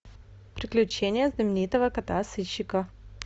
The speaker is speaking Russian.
приключения знаменитого кота сыщика